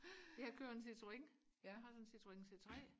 jeg kører en Citroen jeg har en Citroen c3